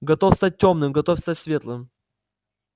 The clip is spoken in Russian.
готов стать тёмным готов стать светлым